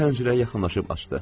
O pəncərəyə yaxınlaşıb açdı.